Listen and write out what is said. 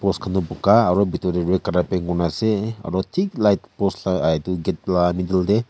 buga aro bitor de red color paint kuri na ase aro thik light post la middle de--